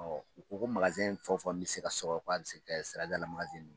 Ɔ u ko ko fɔ o fɔ n bɛ se ka sɔrɔ k'a bɛ se ka kɛ siradala ye